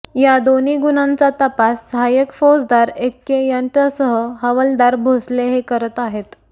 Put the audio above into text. या दोन्ही गुन्ह्यांचा तपास सहाय्यक फौजदार एक्के यांच्यासह हवालदार भोसले हे करत आहेत